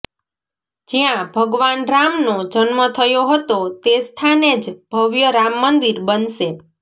જ્યાં ભગવાન રામનો જન્મ થયો હતો તે સ્થાને જ ભવ્ય રામમંદિર બનશે